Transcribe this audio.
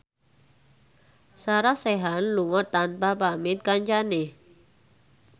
Sarah Sechan lunga tanpa pamit kancane